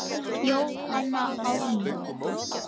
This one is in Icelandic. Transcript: Jóhanna Ármann.